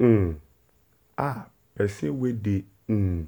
um ahh person wey dey um